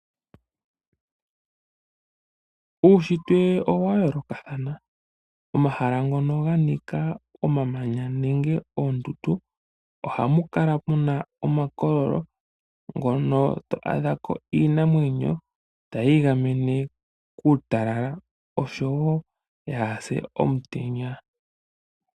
Uushitwe owa yoolokathana. Omahala ngono ga nika omamanya nenge oondundu, ohamu kala muna omakololo, ngono tovulu oku adhahako iinamwenyo, tayi igamene kuutalala, oshowo opo yaapye komutenya.